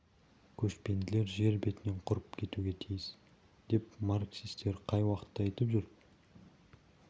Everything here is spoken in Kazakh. көшпенділер жер бетінен құрып кетуге тиіс деп марксистер қай уақытта айтып жүр